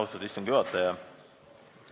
Austatud istungi juhataja!